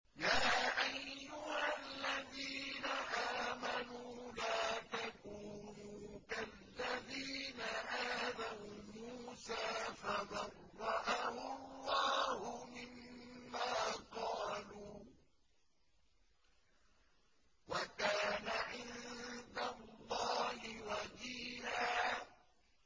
يَا أَيُّهَا الَّذِينَ آمَنُوا لَا تَكُونُوا كَالَّذِينَ آذَوْا مُوسَىٰ فَبَرَّأَهُ اللَّهُ مِمَّا قَالُوا ۚ وَكَانَ عِندَ اللَّهِ وَجِيهًا